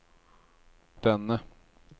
denne